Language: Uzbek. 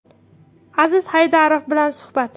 Aziz Haydarov bilan suhbat.